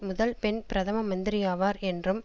முதல் பெண் பிரதம மந்திரியாவார் என்றும்